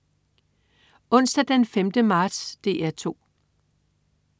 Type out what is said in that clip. Onsdag den 5. marts - DR 2: